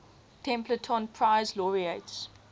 templeton prize laureates